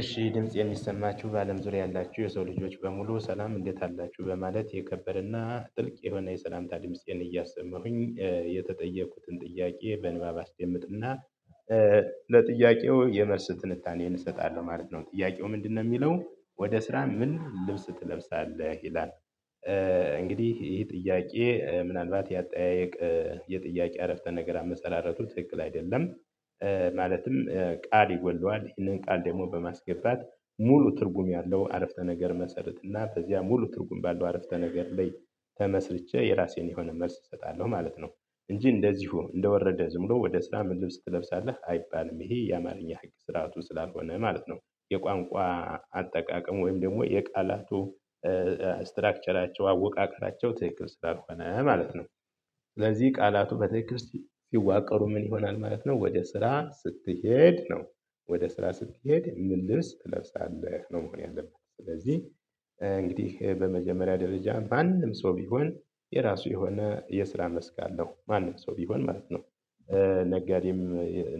እሺ ድምጽ የሚሰማችሁ በአለም ዙሪያ ያላችሁ የሰው ልጆች በሙሉ ሰላም እንዴት አላችሁ በማለት የከበረና ጥልቅ የሆነ የሰላምታ ድምጽን እያሰመሩኝ የተጠየኩትን ጥያቄ በንባብ አስጀምጥና አስገምትና ለጥያቄው የመርስ ትንታኔን እሰጣለሁ ማለት ነው ጥያቄው ምንድነው የሚለው ወደ ስራ ምን ልብስ ትለብሳለህ ይላል? እንግዲህ ይሄ ጥያቄ ምናልባት የአጠያየቅ የጥያቄ አረፍተ ነገር አመሰላረቱ ትክል አይደለም። ማለትም ቃል ይወደዋል ይህንን ቃል ደግሞ በማስገባት ሙሉ ትርጉም ያለው አረፍተ ነገር መሰረት እና በዚያ ሙሉ ትርጉም ባለው አረፍተ ነገር ላይ ተመስርቼ የራሴን የሆነ መልስ እሰጣለሁ ማለት ነው። እንጂ እንደዚሁ እንደወረደ ዝምሎ ወደ ስራ መድብስ ትለብሳለህ አይባልም ይሄ የአማርኛ ህግ ስራቱ ስላልሆነ ማለት ነው። የቋንቋ አጠቃቀም ወይም ደግሞ የቃላቱ ስትራክቸራቸው አወቃቀራቸው ትክክል ስራ ስለሆነ ማለት ነው። ስለዚህ ቃላቱ በቴክርስቲያን ይዋቀሩ ምን ይሆናል ማለት ነው ወደ ስራ ስትሄድ ነው። ወደ ስራ ስትሄድ ምን ልብስ ትለብሳለህ ነው መሆን ያለብህ ስለዚህ። እንግዲህ በመጀመሪያ ደረጃ በአንድም ሰው ቢሆን የራሱ የሆነ የስራ መስክ አለው ማንም ሰው ቢሆን ማለት ነው። ነጋዴም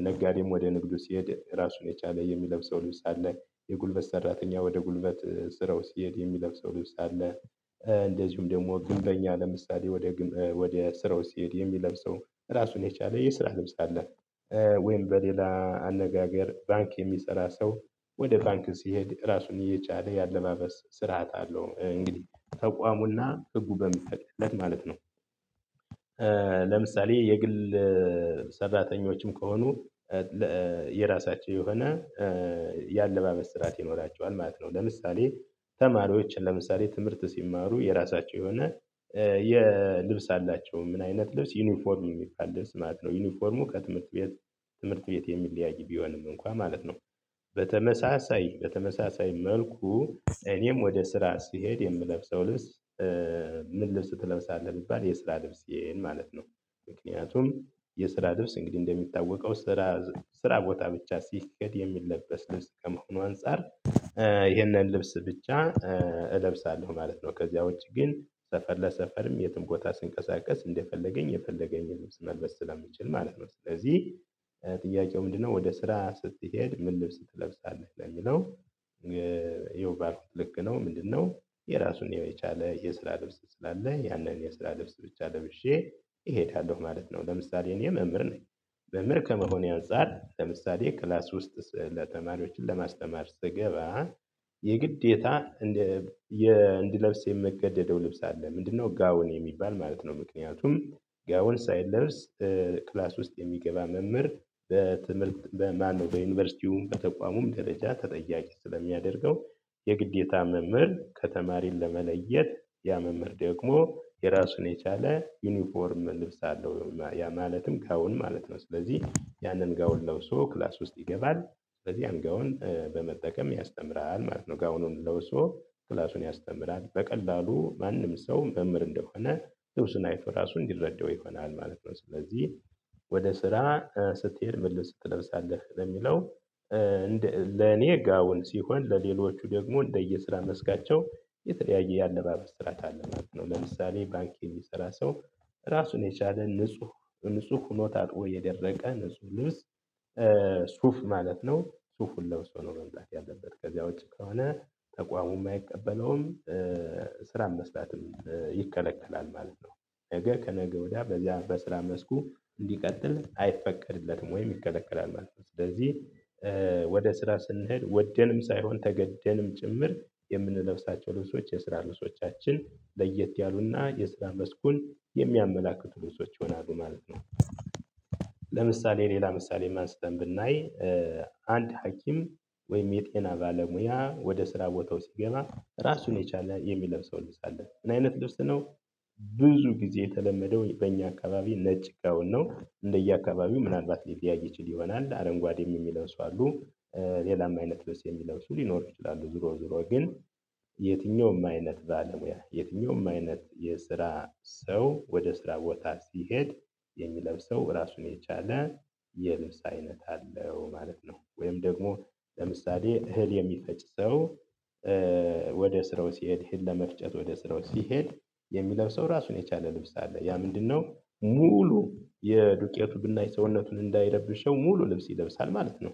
ነጋዴም ወደ ንግዱ ሲሄድ ራሱን የቻለ የሚለብሰው ልውሳት ላይ የጉልበት ሰራተኛ ወደ ጉልበት ስራው ሲሄድ የሚለብሰው ልብስ አለ። እንደዚሁም ደግሞ ግንበኛ ለምሳሌ ወደ ወደ ስራው ሲሄድ የሚለብሰው ራሱን የቻለ የስራ ልብስ አለ። ወይም በሌላ አነጋገር ባንክ የሚሰራ ሰው ወደ ባንክ ሲሄድ ራሱን እየቻለ ያለማመስ ስርዓት አለው እንግዲህ ተቋሙና ህጉ በሚተክልለት ማለት ነው። ለምሳሌ የግል ሰዳተኞችም ከሆኑ የራሳቸው የሆነ የአለባበስ ስራት ይኖራቸዋል ማለት ነው። ለምሳሌ ተማሪዎችን ለምሳሌ ትምህርት ሲማሩ የራሳቸው የሆነ የልብስ አላቸው ምን አይነት ልብስ ዩኒፎርም የሚፋለስ ማለት ነው። ዩኒፎርሙ ከትምህርት ቤት ትምህርት ቤት የሚለያይ ቢሆንም እንኳን ማለት ነው። በተመሳሳይ በተመሳሳይ መልኩ እኔም ወደ ስራ ስሄድ የምለብሰው ልብስ ምን ልብስ ትለምሳለህ የሚባል የስራ ልብስ ይሄን ማለት ነው። ምክንያቱም የስራ ልብስ እንግዲህ እንደሚታወቀው ስራ ስራ ቦታ ብቻ ሲክድ የሚለበስ ልብስ ከመሆኑ አንፃር ይህንን ልብስ ብቻ እለብሳለሁ ማለት ነው። ከዚያ ውጪ ግን ሰፈር ለሰፈርም የትም ቦታ ስንቀሳቀስ እንደፈለገኝ የፈለገኝ ልብስ መልበስ ስለምችል ማለት ነው። ስለዚህ ጥያቄው ምንድነው ወደ ስራ ስትሄድ ምን ልብስ ትለብሳለህ ነው የሚለው። ይኸው ባክ ልክ ነው ምንድነው የራሱን የመቻለ የስራ ልብስ ስላለ ያንን የስራ ልብስ ብቻ ለብሼ እሄዳለሁ ማለት ነው። ለምሳሌ እኔ መምህር መምህር ከመሆኔ አንፃር ለምሳሌ ክላስ ውስጥ ለተማሪዎችን ለማስተማር ስገባ የግዴታ እንደ እንድለብስ የምገደደው ልብስ አለ ምንድነው ጋውን የሚባል ማለት ነው። ምክንያቱም ጋውን ሳይለርስ ክላስ ውስጥ የሚገባ መምህር በትምህርት በማነው በዩኒቨርሲቲው በተቋሙም ደረጃ ተጠያቂ ስለሚያደርገው የግዴታ መምህር ከተማሪን ለመለየት ያመምር ደግሞ የራሱን የቻለ ዩኒፎርም ልብስ አለው። ያ ማለትም ከአሁን ማለት ነው ስለዚህ ያንን ጋውን ለውሶ ክላስ ውስጥ ይገባል። ስለዚህ አንጋውን በመጠቀም ያስተምራል ማለት ነው ጋውኑን ለውሶ ክላሱን ያስተምራል በቀላሉ ማንም ሰው መምህር እንደሆነ ልብሱን አይቶ ራሱን ይረደው ይሆናል ማለት ነው። ስለዚህ ወደ ስራ ስትሄድ ምልህ ስትለብሳለህ ለሚለው? ለኔ አሁን ሲሆን ለሌሎቹ ደግሞ እንደየስራ መስጋቸው የተለያየ የአለማ መስራት አለማት ነው። ለምሳሌ ባንኪን የሚሰራ ሰው ራሱን የቻለ ንጹህ ንጹህ ሁኖታት ወይ የደረቀ ንጹህ ልብስ ሱፍ ማለት ነው። ሱፉን ለብሶ ኖሮ እንጣት ያለበት ከዚያው ውጪ ከሆነ ተቋሙም የማይቀበለውም ስራን መስራትም ይከለከላል ማለት ነው። ነገ ከነገ ወዲያ በዚያ በስራ መስኩ እንዲቀጥል አይፈቀድለትም ወይም ይከለከላል ማለት ነው። ስለዚህ ወደ ስራ ስንሄድ ወደንም ሳይሆን ተገደንም ጭምር የምንለብሳቸው ልብሶች የስራ ልብሶቻችን ለየት ያሉና የስራ መስኩን የሚያመላክቱ ልዑሶች ይሆናሉ ማለት ነው። ለምሳሌ ሌላ ምሳሌ ማንስተን ብናይ አንድ ሀኪም ወይም የጤና ባለሙያ ወደ ስራ ቦታው ሲገባ ራሱን የቻለ የሚለብሰው ልብስ አለ ምን አይነት ድርስ ነው። ብዙ ጊዜ የተለመደው በእኛ አካባቢ ነጭ እኮ ነው እንደየአካባቢው ምናልባት ሊያይ ይችል ይሆናል አረንጓዴም የሚለው ሰው አሉ። ሌላም አይነት በስ የሚለብሱ ሊኖር ይችላሉ። ዞሮ ዞሮ ግን የትኛውም አይነት ባለሙያ የትኛውም አይነት የስራ ሰው ወደ ስራ ቦታ ሲሄድ የሚለብሰው ራሱን የቻለ የልብስ አይነት አለው ማለት ነው። ወይም ደግሞ ለምሳሌ እህል የሚፈጭ ሰው ወደ ስራው ሲሄድ ሄድ ለመፍጨት ወደ ስራው ሲሄድ የሚለብሰው ራሱን የቻለ ልብስ አለ ያ ምንድነው ሙሉ የዱቄቱ ብናይ ሰውነቱን እንዳይረብሸው ሙሉ ልብስ ይለብሳል ማለት ነው።